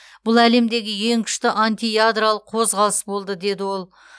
бұл әлемдегі ең күшті антиядролық қозғалыс болды деді ол